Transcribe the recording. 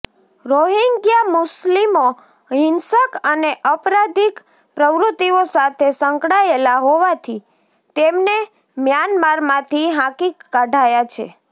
Rohingya મુસ્લિમો હિંસક અને અપરાધિક પ્રવૃત્તિઓ સાથે સંકળાયેલાં હોવાથી તેમને મ્યાનમારમાંથી હાંકી કઢાયાં છે